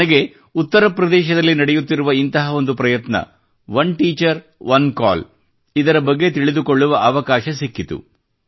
ನನಗೆ ಉತ್ತರಪ್ರದೇಶದಲ್ಲಿ ನಡೆಯುತ್ತಿರುವ ಇಂತಹ ಒಂದು ಪ್ರಯತ್ನ ಒನ್ ಟೀಚರ್ ಒನ್ ಕಾಲ್ ಇದರ ಬಗ್ಗೆ ತಿಳಿದುಕೊಳ್ಳುವ ಅವಕಾಶ ಸಿಕ್ಕಿತು